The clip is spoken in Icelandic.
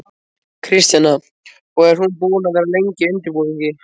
Kristjana: Og er hún búin að vera lengi í undirbúningi?